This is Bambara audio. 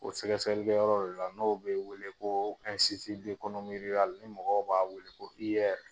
O sɛgɛsɛgɛli yɔrɔ de la n'o bɛ wele ko ni mɔgɔw b'a wele ko IR.